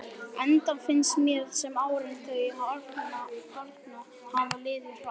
Enda finnst mér sem árin þau arna hafi liðið hratt.